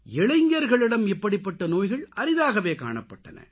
இளைஞர்களிடம் இப்படிப்பட்ட நோய்கள் அரிதாகவே காணப்பட்டன